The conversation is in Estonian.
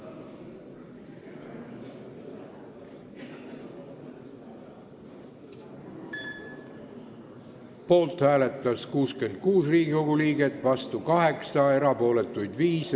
Hääletustulemused Poolt hääletas 66 Riigikogu liiget, vastu 8, erapooletuid oli 5.